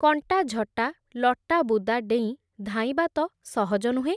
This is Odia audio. କଣ୍ଟାଝଟା ଲଟାବୁଦା ଡେଇଁ ଧାଇଁବା ତ ସହଜ ନୁହେଁ ।